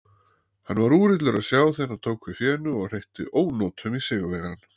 Hann var úrillur að sjá þegar hann tók við fénu og hreytti ónotum í sigurvegarann.